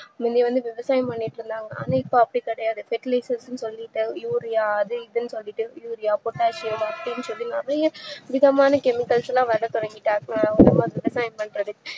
முன்னவந்து விவசாயம் பண்ணிட்டு இருந்தாங்க ஆனா இப்போ அப்டிகிடையாது சொல்லிட்டாங்க urea அதுஇதுன்னு சொல்லிட்டு urea pottasium அப்டின்னு சொல்லி நறையவிதமான chemicals ல வர தொடங்கினனால